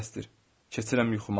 Keçirəm yuxuma.